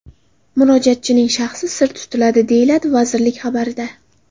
Murojaatchining shaxsi sir tutiladi”, deyiladi vazirlik xabarida.